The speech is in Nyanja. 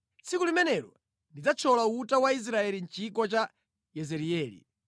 Tsiku limenelo ndidzathyola uta wa Israeli mʼchigwa cha Yezireeli.”